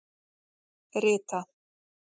Rita